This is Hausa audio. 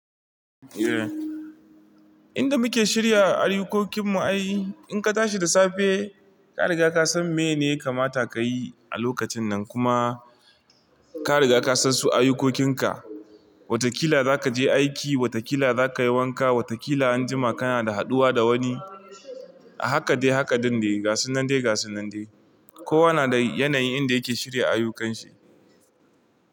Eh, inda muke shirya ayyukokin mu ai in ka tashi da safe ka riga ka san meyene yakamata ka yi a lokacin nan kuma ka riga ka san su ayukokinka. Watakila za ka je aiki, watakila za ka yi wanka, watakila anjima kana da haduwa da wani a haka dai haka ɗinde gasunnan dai gasunnan dai. Kowa na da yanayin inda yake shirya ayyukanshi.